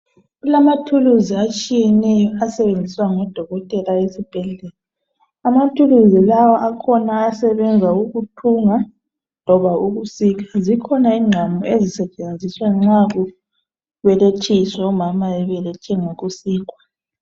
Kulamathuluzi atshiyeneyo asebenziswa ngodokotela esibhedlela. Amathuluzi lawa akhona ayasebenza ukuuthunga loba ukusika zikhona inqamu azisetshenziswa nxa kubelethiswa omama bebelethe ngokusikwa.